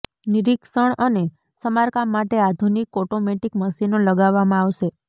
નિરીક્ષણ અને સમારકામ માટે આધુનિક ઓટોમેટિક મશીનો લગાવવામાં આવશે